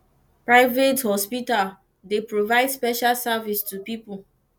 private hospital dey provide special service to pipo